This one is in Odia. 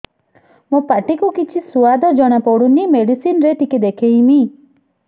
ମୋ ପାଟି କୁ କିଛି ସୁଆଦ ଜଣାପଡ଼ୁନି ମେଡିସିନ ରେ ଟିକେ ଦେଖେଇମି